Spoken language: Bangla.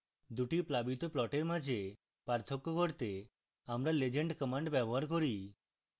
দুটি প্লাবিত প্লটের মাঝে পার্থক্য করতে আমরা legend command ব্যবহার করি